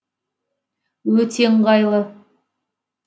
өте ыңғайлы